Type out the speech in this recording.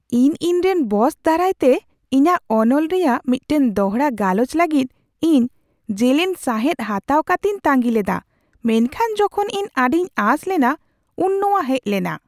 ᱤᱧ ᱤᱧᱨᱮᱱ ᱵᱚᱥ ᱫᱟᱨᱟᱭᱛᱮ ᱤᱧᱟᱹᱜ ᱚᱱᱚᱞ ᱨᱮᱭᱟᱜ ᱢᱤᱫᱴᱟᱝ ᱫᱚᱲᱦᱟ ᱜᱟᱞᱚᱪ ᱞᱟᱹᱜᱤᱫ ᱤᱧ ᱡᱮᱞᱮᱧ ᱥᱟᱸᱦᱮᱫ ᱦᱟᱛᱟᱣ ᱠᱟᱛᱤᱧ ᱛᱟᱺᱜᱤ ᱞᱮᱫᱟ, ᱢᱮᱱᱠᱷᱟᱱ ᱡᱚᱠᱷᱚᱱ ᱤᱧ ᱟᱹᱰᱤᱧ ᱟᱸᱥ ᱞᱮᱱᱟ ᱩᱱ ᱱᱚᱶᱟ ᱦᱮᱡ ᱞᱮᱱᱟ ᱾